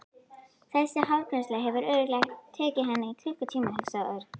Þessi hárgreiðsla hefur örugglega tekið hann klukkutíma hugsaði Örn.